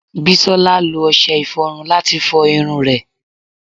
Bisola lo ọṣẹ iforun lati fo irun re